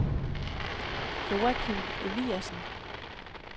Joachim Eliasen